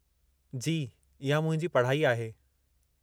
जी, इहा मुंहिंजी पढ़ाई आहे।